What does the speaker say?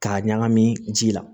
K'a ɲagami ji la